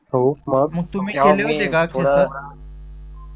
हो मग तुम्ही केले होते का थोडं